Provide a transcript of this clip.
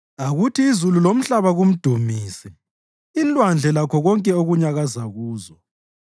Akuthi izulu lomhlaba kumdumise, inlwandle lakho konke okunyakaza kuzo,